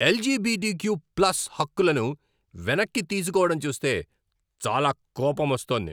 LGBTQ plus హక్కులను వెనక్కి తీసుకోవడం చూస్తే చాలా కోపమొస్తోంది.